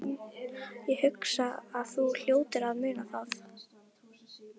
Ég hugsa að þú hljótir að muna það.